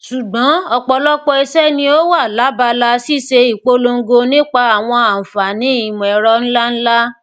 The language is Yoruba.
ṣugbọn ọpọlọpọ iṣẹ ni o wa labala ṣiṣe ipolongo nipa awọn anfaani imọẹrọ nlanla